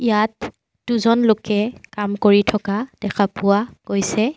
ইয়াত দুজন লোকে কাম কৰি থকা দেখা পোৱা গৈছে।